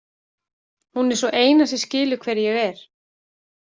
Hún er sú eina sem skilur hver ég er.